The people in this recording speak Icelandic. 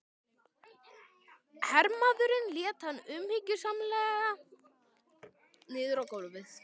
Hermaðurinn lét hann umhyggjusamlega niður á gólfið.